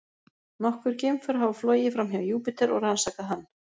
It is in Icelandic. Nokkur geimför hafa flogið framhjá Júpíter og rannsakað hann.